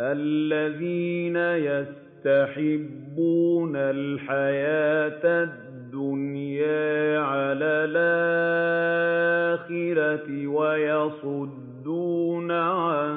الَّذِينَ يَسْتَحِبُّونَ الْحَيَاةَ الدُّنْيَا عَلَى الْآخِرَةِ وَيَصُدُّونَ عَن